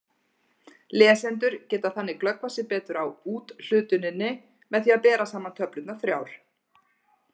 Lesendur geta þannig glöggvað sig betur á úthlutuninni með því að bera saman töflurnar þrjár.